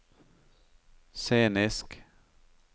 scenisk